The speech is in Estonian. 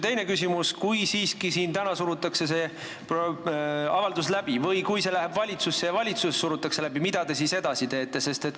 Teine küsimus: kui siiski siin täna surutakse see avaldus läbi või kui see läheb valitsusse ja valitsuses surutakse see läbi, mida te siis edasi teete?